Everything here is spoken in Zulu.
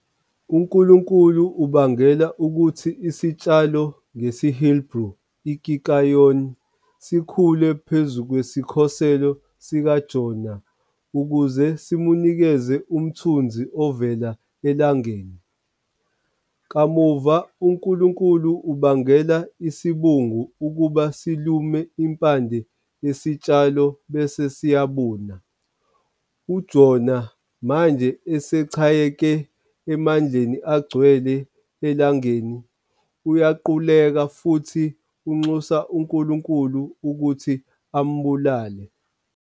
UNkulunkulu ubangela ukuthi isitshalo, ngesiHeberu i- "kikayon", sikhule phezu kwesikhoselo sikaJona ukuze simnikeze umthunzi ovela elangeni. Kamuva, uNkulunkulu ubangela isibungu ukuba silume impande yesitshalo bese siyabuna. UJona, manje esechayeke emandleni agcwele elangeni, uyaquleka futhi unxusa uNkulunkulu ukuthi ambulale.